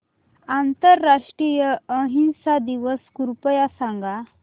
आंतरराष्ट्रीय अहिंसा दिवस कृपया सांगा